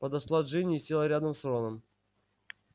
подошла джинни и села рядом с роном